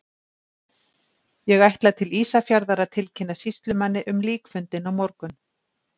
Ég ætla til Ísafjarðar að tilkynna sýslumanni um líkfundinn á morgun.